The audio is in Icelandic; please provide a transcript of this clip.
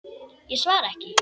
Ég svara ekki.